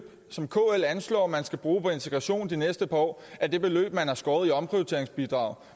som kl anslår der skal bruges på integration i de næste par år er det beløb man har skåret i omprioriteringsbidraget